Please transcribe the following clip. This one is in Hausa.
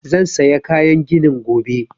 Zan saya kayan ginin gobe